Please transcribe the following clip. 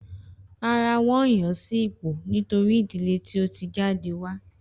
Rárá, wón yan sí ipò nítorí ìdílé tí o ti jáde wá